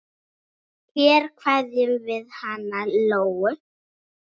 Hér kveðjum við hana Lóu.